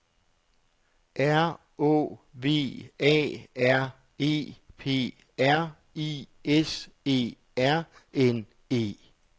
R Å V A R E P R I S E R N E